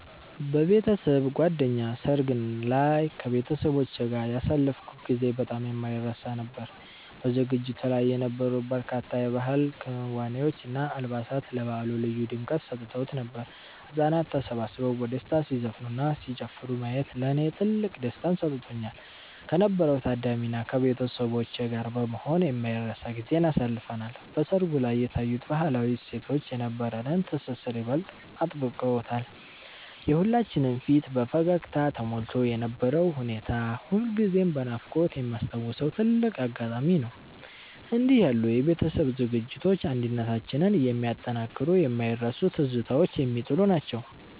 በቤተሰብ ጓደኛ ሰርግ ላይ ከቤተሰቦቼ ጋር ያሳለፍኩት ጊዜ በጣም የማይረሳ ነበር። በዝግጅቱ ላይ የነበሩት በርካታ የባህል ክዋኔዎች እና አልባሳት ለበዓሉ ልዩ ድምቀት ሰጥተውት ነበር። ህጻናት ተሰብስበው በደስታ ሲዘፍኑና ሲጨፍሩ ማየት ለኔ ትልቅ ደስታን ሰጥቶኛል። ከነበረው ታዳሚ እና ከቤተሰቦቼ ጋር በመሆን የማይረሳ ጊዜን አሳልፈናል። በሰርጉ ላይ የታዩት ባህላዊ እሴቶች የነበረንን ትስስር ይበልጥ አጥብቀውታል። የሁላችንም ፊት በፈገግታ ተሞልቶ የነበረው ሁኔታ ሁልጊዜም በናፍቆት የማስታውሰው ትልቅ አጋጣሚ ነው። እንዲህ ያሉ የቤተሰብ ዝግጅቶች አንድነታችንን የሚያጠናክሩና የማይረሱ ትዝታዎችን የሚጥሉ ናቸው።